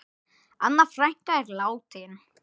Anna frænka er látin.